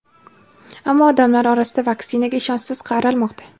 Ammo, odamlar orasida vaksinaga ishonchsiz qaralmoqda.